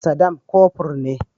Sadam kofur ne.